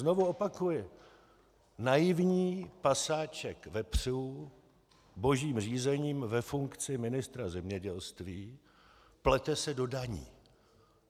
Znovu opakuji: Naivní pasáček vepřů, božím řízením ve funkci ministra zemědělství, se plete do daní.